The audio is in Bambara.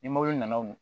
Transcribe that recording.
Ni mobili nana wo